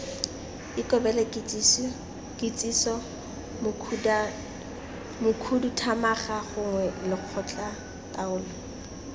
ikobele kitsiso mokhuduthamaga gongwe lekgotlataolo